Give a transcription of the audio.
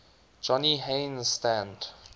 johnny haynes stand